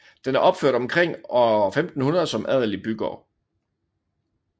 Den er opført omkring år 1500 som adelig bygård